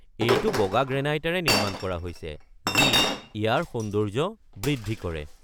এইটো বগা গ্ৰেনাইটেৰে নিৰ্মাণ কৰা হৈছে যি ইয়াৰ সৌন্দৰ্য্য বৃদ্ধি কৰে।